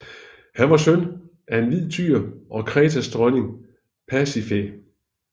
Han var søn af en hvid tyr og Kretas dronning Pasifaë